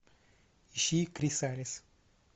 ищи кризалис